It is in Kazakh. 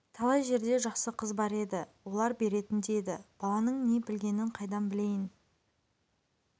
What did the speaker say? талай жерде жақсы қыз бар еді олар беретін де еді баланың не білгенін қайдан білейін